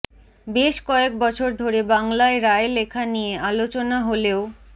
বেশ কয়েক বছর ধরে বাংলায় রায় লেখা নিয়ে আলোচনা হলেও